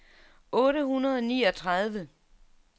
otte hundrede og niogtredive